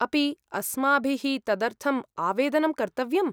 अपि अस्माभिः तदर्थम् आवेदनं कर्तव्यम्?